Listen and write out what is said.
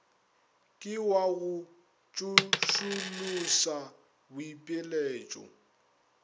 ke wa go tsošološa boipiletšo